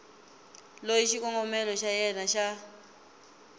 loyi xikombelo xa yena xa